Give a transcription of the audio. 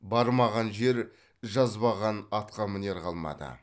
бармаған жер жазбаған атқамінер қалмады